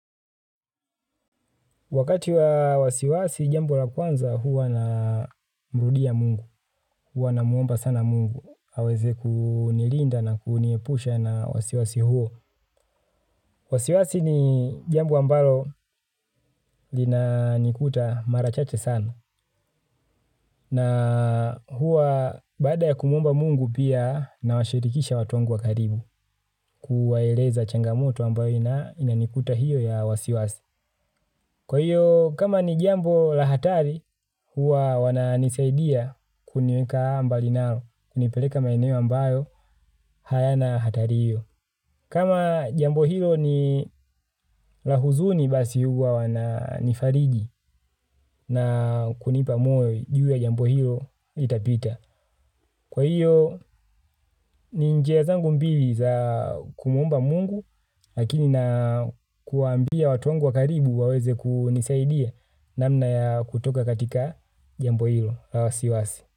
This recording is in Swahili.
Wakati wa wasiwasi jambo la kwanza huwa namrudia Mungu, huwa namwomba sana Mungu, aweze kunilinda na kuniepusha na wasiwasi huo. Wasiwasi ni jambo ambalo linanikuta mara chache sana na huwa baada ya kumwomba Mungu pia nawashirikisha watu wangu wa karibu kuwaeleza changamoto ambayo inanikuta hiyo ya wasiwasi. Kwa hiyo, kama ni jambo la hatari, huwa wananisaidia kuniweka mbali nao, kunipeleka maeneo ambayo, hayana hatari hiyo. Kama jambo hiyo ni la huzuni basi huwa wananifariji na kunipa moyo jue jambo hiyo litapita. Kwa hiyo, ni njia zangu mbili za kumwomba Mungu, lakini na kuambia watu wangu wa karibu waweze kunisaidia namna ya kutoka katika jambo hilo.